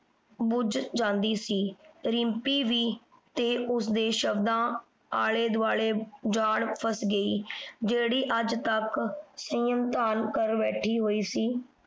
ਬੁੱਝ ਜਾਂਦੀ ਸੀ। ਰਿੰਪੀ ਵੀ ਤੇ ਉਸਦੇ ਸ਼ਬਦਾਂ ਆਲੇ ਦੁਆਲੇ ਜਾਲ ਫਸ ਗਈ। ਜਿਹੜੀ ਅੱਜ ਤੱਕ ਸੰਯਮ ਧਾਰ ਕਰ ਬੈਠੀ ਹੋਈ ਸੀ।